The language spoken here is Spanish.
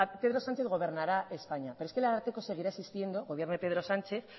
pedro sánchez gobernará españa pero es que el ararteko seguirá existiendo gobierne pedro sánchez